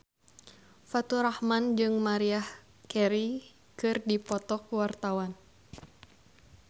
Faturrahman jeung Maria Carey keur dipoto ku wartawan